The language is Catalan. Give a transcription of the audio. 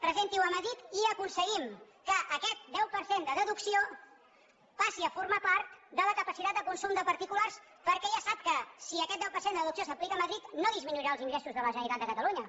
presenti ho a madrid i aconseguim que aquest deu per cent de deducció passi a formar part de la capacitat de consum de particulars perquè ja sap que si aquest deu per cent de deducció s’aplica a madrid no disminuirà els ingressos de la generalitat de catalunya